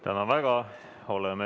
Tänan väga!